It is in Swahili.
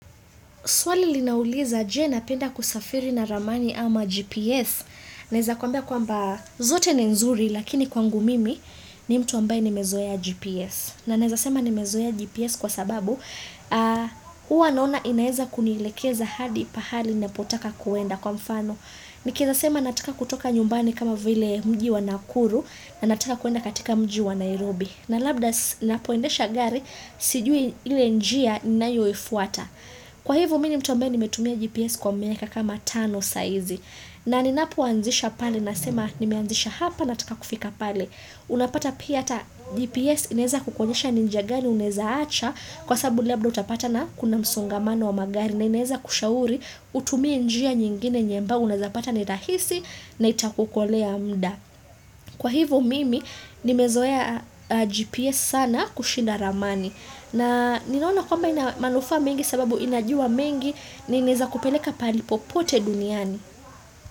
Swali linauliza je napenda kusafiri na ramani ama GPS? Naeza kuambia kwamba zote ni nzuri lakini kwangu mimi ni mtu ambaye nimezoea GPS. Na naeza sema nimezoea GPS kwa sababu huwa naona inaeza kunilekeza hadi pahali napotaka kuenda kwa mfano. Nikieza sema nataka kutoka nyumbani kama vile mji wa Nakuru na natika kuenda katika mji wa Nairobi. Na labda ninapo endesha gari sijui ile njia ninayo ifuata. Kwa hivo mimi ni mtu nimetumia GPS kwa miaka kama tano sahizi na ninapo anzisha pale nasema nimeanzisha hapa nataka kufika pale. Unapata pia ata GPS ineza kukonyesha ni njia gani unaeza acha kwa sababu labda utapata na kuna msongamano wa magari na ineza kushauri utumie njia nyingine yenye ambao unazapata ni rahisi na itakukolea muda. Kwa hivo mimi nimezoea GPS sana kushinda ramani na ninaona kwamba ina manufa mengi sababu inajua mengi nineza kupeleka pahali popote duniani.